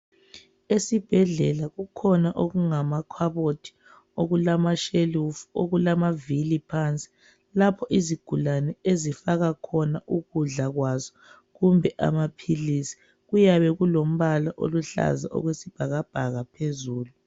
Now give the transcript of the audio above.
Esibhedlela kukhona okungamakhabothi okulashelufu okulama vili phansi lapho izigulane ezifaka khona ukudla kwazo kumbe amapills kuyabe kumbala oluhlaza okwesibhakabhaka phezulu